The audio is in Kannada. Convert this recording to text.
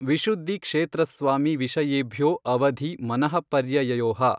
ವಿಶುದ್ಧಿ ಕ್ಷೇತ್ರ ಸ್ವಾಮಿ ವಿಷಯೇಭ್ಯೋ ಅವಧಿ ಮನಃಪರ್ಯಯಯೋಃ